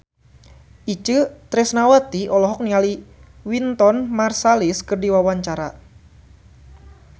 Itje Tresnawati olohok ningali Wynton Marsalis keur diwawancara